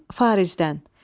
Farizdən.